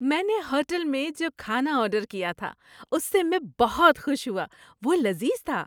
میں نے ہوٹل میں جو کھانا آرڈر کیا تھا اس سے میں بہت خوش ہوا۔ وہ لذیذ تھا۔